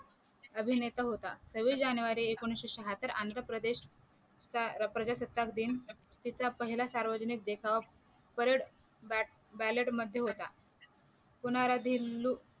अभिनेता होता सव्वीस जानेवारी एकोणीशे शहात्तर आंध्र प्रदेश चा प्रजासत्ता दिन तिचा पहिला सार्वजनिक देखाव परेड बे बॅलेट मध्ये होता होणारा दिल्लू